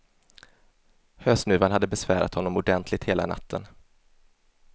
Hösnuvan hade besvärat honom ordentligt hela natten.